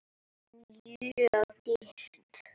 Mjög dýrt.